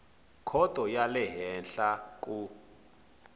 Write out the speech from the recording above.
khoto ya le henhla ku